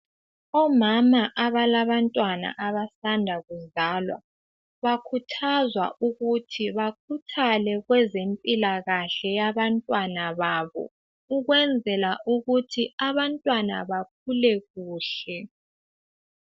Omama abalabantwana abasanda kuzalwa. Bakhuthazwa ukuthi bakhuthale kwezempilakahle yabantwana babo ukwenzela ukuthi abantwana bakhule kuhle.